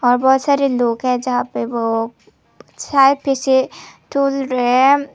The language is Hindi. और बहुत सारे लोग हैं जहां पे वो शायद पीछे झूल रहे हैं।